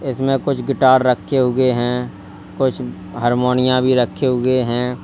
इसमें कुछ गिटार रखे हुए हैं कुछ हरमोनिया भी रखे हुए हैं।